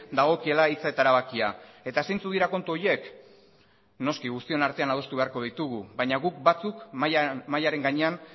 dagokiela hitza eta erabakia eta zeintzuk dira kontu horiek noski guztion artean adostu beharko ditugu baina guk batzuk